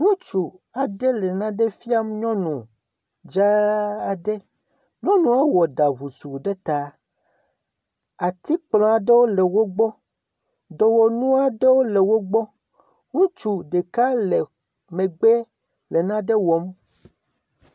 Ŋutsu aɖe le nane fiam nyɔnu aɖe. nyɔnua wɔ ɖa ŋusu ɖe ta. Atikplɔ aɖewo le wogbɔ. Dɔwɔnu aɖewo le wo gbɔ. Ŋutsu ɖeka le megbe le naɖe wɔm.